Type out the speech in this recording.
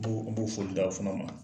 N bo foli d'a fana ma.